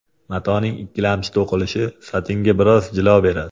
Matoning ikkilamchi to‘qilishi satinga biroz jilo beradi.